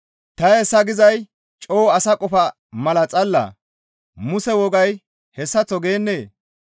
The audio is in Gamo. Ta hayssa gizay coo asa qofa mala xallaa? Muse wogay hessaththo geennee?